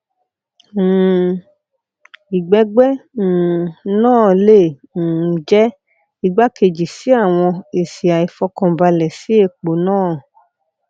um igbẹgbẹ um naa le um jẹ igbakeji si awọn esi aifọkanbalẹ si epo naa